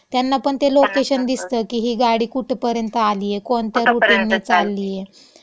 त्यांना पण ते लोकेशन दिसतं की ही गाडी कुठंपर्यंत आलीये? कोणत्या रूटनी चाललीये? म्हणजे आपलं जे, हो. कुठंपर्यंत.